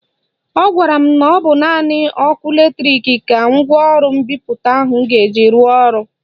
Ọ gwara m na ọ bụ naanị ọkụ latrik ka ngwaọrụ mbipụta ahụ ga-eji rụọ ọrụ